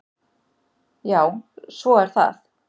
Já, svo er það.